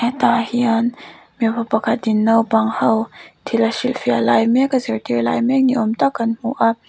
tah hian mipa pakhat in naupang ho thil a hrilhfiah lai mek a zirtir lai mek ni awm tak kan hmu a--